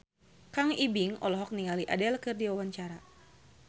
Kang Ibing olohok ningali Adele keur diwawancara